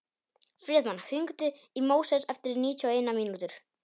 Friðmann, hringdu í Móses eftir níutíu og eina mínútur.